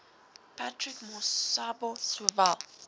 patrick masobe sowel